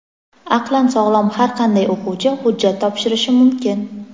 Aqlan sog‘lom har qanday o‘quvchi hujjat topshirishi mumkin.